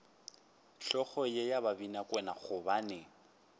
hlogo ye ya babinakwena gobane